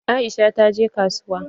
Aisha ta je kasuwa.